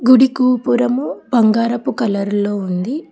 గుడి గోపురము బంగారపు కలర్ లో ఉంది.